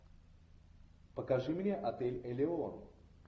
покажи мне отель элеон